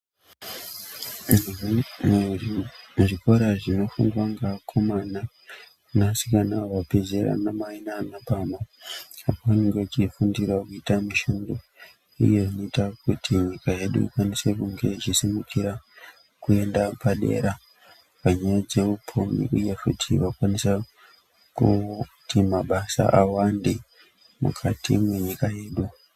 Zvikora zvinofundwa ngeakomana neasikana vabve zera, anamai nana baba apo vanenge vachifundirawo kuita mishando iyo inoita kuti nyika yedu ikwanise kunge ichisimukira kuenda padera panyaya dzeupfumi uye futi vakwanisa kuti mabasa awande mukati mwenyika yedu.